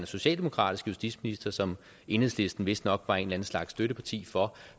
socialdemokratiske justitsminister som enhedslisten vist nok var en slags støtteparti for